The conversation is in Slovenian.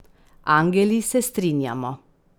Angeli se strinjamo.